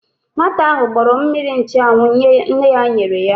Nwata ahụ gbọrọ mmiri nchụanwụ nne ya nyere ya.